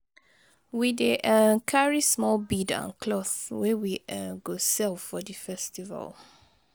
We dey um carry small bead and cloth wey we um go sell for di festival.